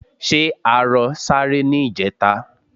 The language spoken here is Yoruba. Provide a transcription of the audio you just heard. Ṣé arọ sáré ní ìjẹta?